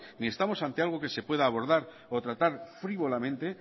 ni estamos ante algo que se pueda abordar o tratar frívolamente